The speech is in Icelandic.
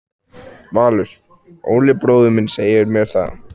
Valur: Óli bróðir minn segir mér það.